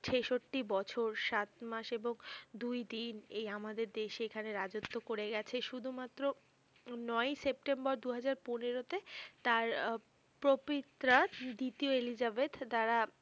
ছেষট্টি বছর সাত মাস এবং দুই দিন এই আমাদের দেশে এখানে রাজত্ব করে গেছে শুধুমাত্র নয়-ই সেপ্টেম্বর দুই হাজার পনেরোতে তার আহ প্রপিট্রা দ্বিতীয় এলিজাবেথ দ্বারা